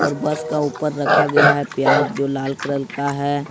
और बस का ऊपर रखा गया है प्याज जो लाल कलर का है।